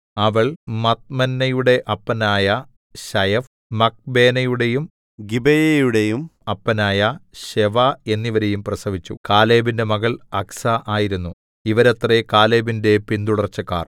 അവൾ മദ്മന്നയുടെ അപ്പനായ ശയഫ് മക്ബേനയുടെയും ഗിബെയയുടെയും അപ്പനായ ശെവാ എന്നിവരെയും പ്രസവിച്ചു കാലേബിന്റെ മകൾ അക്സാ ആയിരുന്നു ഇവരത്രേ കാലേബിന്റെ പിന്തുടർച്ചക്കാർ